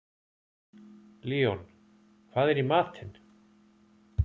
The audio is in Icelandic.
Leon, hvað er í matinn?